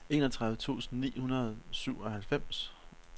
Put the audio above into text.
enogtredive tusind ni hundrede og syvoghalvfems